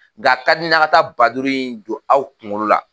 Nka a ka di n ye aw ka taa ba duuru in don aw kunkolo la